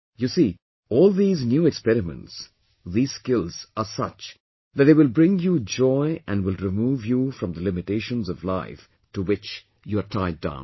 You see, all these new experiments, these skills are such that they will bring you joy and will remove you from the limitations of life to which you're tied down